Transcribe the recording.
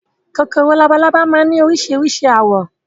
Kòkòrò labalábá máa ni orísirísi àwọ̀